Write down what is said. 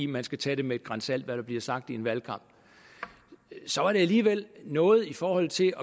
man skal tage det med et gran salt hvad der bliver sagt i en valgkamp så er det alligevel noget i forhold til